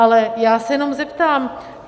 Ale já se jenom zeptám.